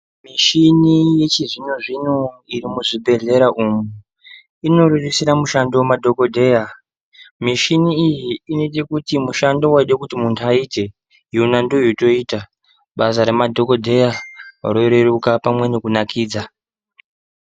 Michini yechizvino zvino iri muzvibhedhlera umu inorerusira mushando kumadhokodheya, mishini iyi inoita kuti mushando waide kuti muntu aite yona ndiyo yotoita basa remadhokodheya roreruka pamwe nekunakidza.